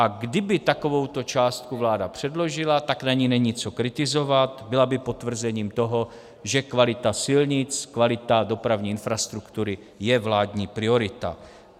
A kdyby takovouto částku vláda předložila, tak na ní není co kritizovat, byla by potvrzením toho, že kvalita silnic, kvalita dopravní infrastruktury je vládní priorita.